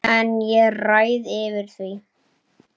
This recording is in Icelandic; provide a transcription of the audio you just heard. En ég ræð yfir því.